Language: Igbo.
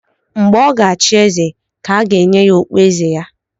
Mgbe ọ ga-achị eze ka a ga-enye ya okpu eze ya